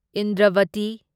Indravati